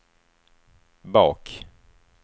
bak